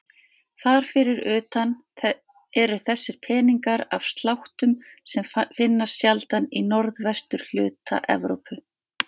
Þar fyrir utan eru þessir peningar af sláttum sem finnast sjaldan í norðvesturhluta Evrópu.